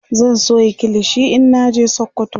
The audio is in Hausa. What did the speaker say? zan Sayo kilishi in naje sokoto